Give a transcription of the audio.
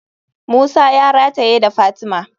Musa ya rataye da fatima.